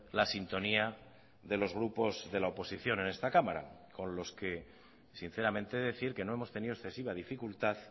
la sintonía de los grupos de la oposición en esta cámara con los que sinceramente decir que no hemos tenido excesiva dificultad